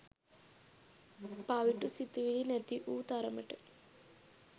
පවිටු සිතිවිලි නැති වූ තරමට